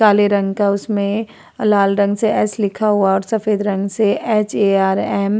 काले रंग का है। उसमें और लाल रंग से एस लिखा हुआ है और सफ़ेद रंग से ऐच.ए.आर.एम ।